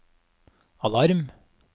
alarm